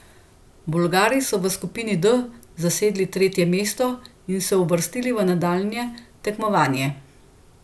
Bolgari so v skupini D zasedli tretje mesto in se uvrstili v nadaljnje tekmovanje.